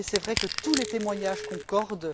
Il est vrai que tous les témoignages concordent.